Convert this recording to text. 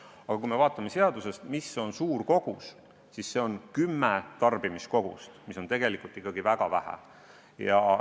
Aga kui me vaatame seadusest, mis on suur kogus, siis see on kümme tarbimiskogust, mis on tegelikult ikkagi väga vähe.